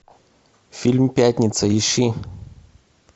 фильм пятница ищи